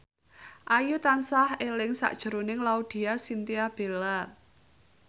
Ayu tansah eling sakjroning Laudya Chintya Bella